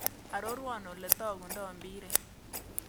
Aroruon ole togundo mpiret